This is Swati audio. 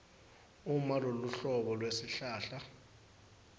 uma loluhlobo lwesihlahla